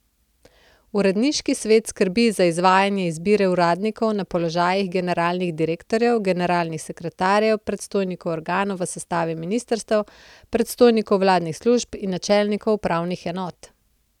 Uredniški svet skrbi za izvajanje izbire uradnikov na položajih generalnih direktorjev, generalnih sekretarjev, predstojnikov organov v sestavi ministrstev, predstojnikov vladnih služb in načelnikov upravnih enot.